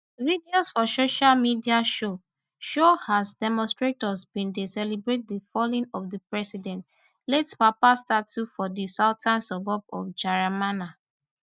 videos for social media show show as demonstrators bin dey celebrate di falling of di president late papa statue for di southern suburb of jeramana